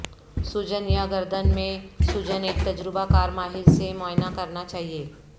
سوجن یا گردن میں سوجن ایک تجربہ کار ماہر سے معائنہ کرنا چاہئے